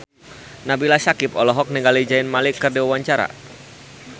Nabila Syakieb olohok ningali Zayn Malik keur diwawancara